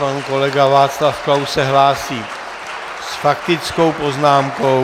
Pan kolega Václav Klaus se hlásí s faktickou poznámkou.